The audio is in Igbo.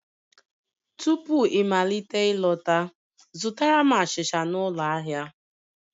Tupu ịmalite ịlọta, zụtara m achịcha n'ụlọ ahịa